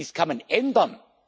entstanden! Dies kann